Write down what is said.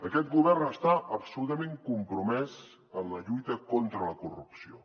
aquest govern està absolutament compromès en la lluita contra la corrupció